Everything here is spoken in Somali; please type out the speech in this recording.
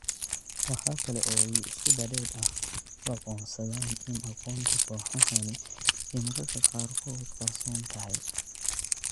Waxa kale oo ay si badheedh ah u aqoonsadaan in aqoonta kooxahani ay mararka qaarkood qarsoon tahay.